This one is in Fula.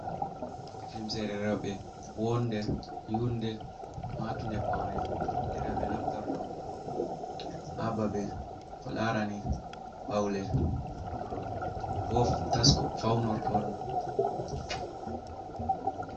Limsere rowɓe, woonde, yunde, maatunde pawne, nde rowɓe naftorto haa babe ko laarani ɓawle, bo tasko fawnorto ɗum.